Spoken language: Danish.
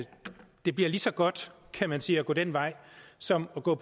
det bliver lige så godt kan man sige at gå den vej som at gå